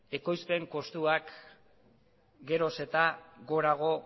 ekoizpen kostuak geroz eta gorago